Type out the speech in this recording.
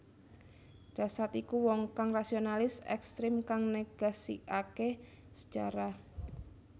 Dasaad iku wong kang rasionalis ekstrem kang negasikake sejarah